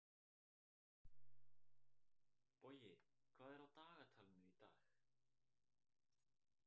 Bogi, hvað er á dagatalinu í dag?